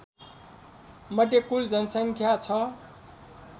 मध्ये कुल जनसङ्ख्या छ